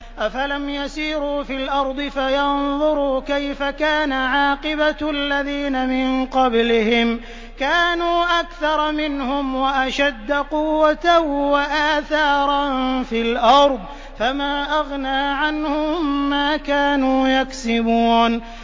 أَفَلَمْ يَسِيرُوا فِي الْأَرْضِ فَيَنظُرُوا كَيْفَ كَانَ عَاقِبَةُ الَّذِينَ مِن قَبْلِهِمْ ۚ كَانُوا أَكْثَرَ مِنْهُمْ وَأَشَدَّ قُوَّةً وَآثَارًا فِي الْأَرْضِ فَمَا أَغْنَىٰ عَنْهُم مَّا كَانُوا يَكْسِبُونَ